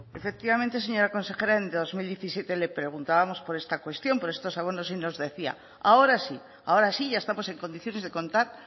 efectivamente señora consejera en dos mil diecisiete le preguntábamos por esta cuestión por estos abonos y nos decía ahora sí ahora sí ya estamos en condiciones de contar